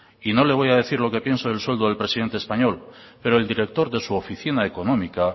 y no le voy a decir lo que pienso del sueldo del presidente español pero el director de su oficina económica